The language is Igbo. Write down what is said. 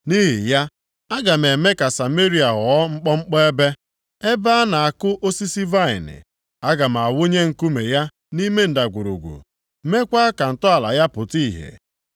“Nʼihi ya, aga m eme ka Sameria ghọọ mkpọmkpọ ebe, ebe a na-akụ osisi vaịnị. + 1:6 Ya bụ, ubi vaịnị Aga m awụnye nkume ya nʼime ndagwurugwu, mekwaa ka ntọala ya pụta ihe.